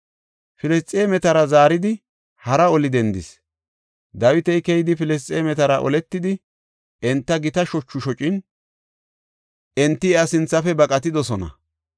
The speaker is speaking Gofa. Filisxeemetara zaaridi hara oli dendis; Dawiti keyidi Filisxeemetara oletidi, enta gita shochu shocin, enti iya sinthafe baqatidosona.